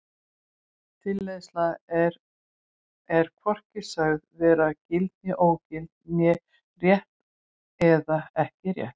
Tilleiðsla er er hvorki sögð vera gild eða ógild né rétt eða ekki rétt.